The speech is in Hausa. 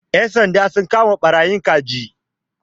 Ƴan sanda sun kama ɓarayin kaji.